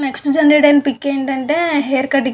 Next generate అయిన pic ఏంటంటే hair cutting .